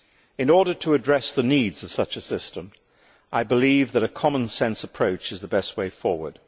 In order to address the needs of such a system, I believe that a common sense approach is the best way forward.